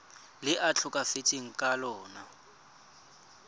le a tlhokafetseng ka lona